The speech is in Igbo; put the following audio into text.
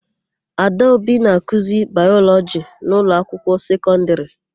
Adaobi na-akụzi Baịlọjị n'ụlọakwụkwọ sekọndịrị.